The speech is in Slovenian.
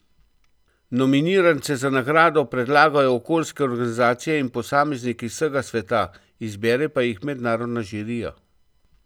Nominirance za nagrado predlagajo okoljske organizacije in posamezniki z vsega sveta, izbere pa jih mednarodna žirija.